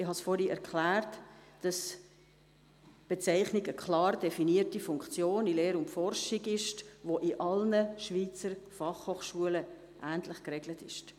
Ich habe vorhin erklärt, dass die Bezeichnung einer klar definierten Funktion in Lehre und Forschung entspricht und in allen Schweizer Fachhochschulen ähnlich geregelt ist.